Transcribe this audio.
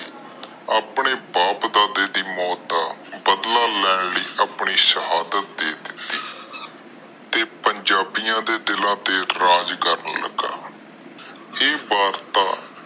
ਆਪਣੇ ਬਾਪ ਦਾਦੇ ਦੀ ਮੌਟ ਦਾ ਬਦਲਾ ਲੈਣ ਲਇ ਆਪਣੀ ਸ਼ਹਾਦਤ ਦੇ ਦਿਤੀ ਤੇ ਪੰਜਾਬੀਆਂ ਦੇ ਦਿਲ ਤੇ ਰਾਜ ਕਰਨ ਲਗਾ। ਏ ਵਾਰਤਾ